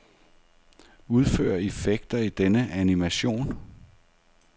Udfør effekter i denne animation.